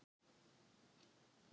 Það er ekki mitt mál.